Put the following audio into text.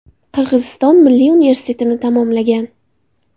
Qirg‘iziston Milliy universitetini tamomlagan.